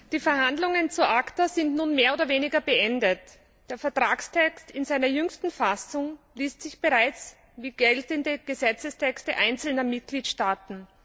Die Verhandlungen zu ACTA sind nun mehr oder weniger beendet. Der Vertragstext in seiner jüngsten Fassung liest sich bereits wie geltende Gesetzestexte einzelner Mitgliedstaaten.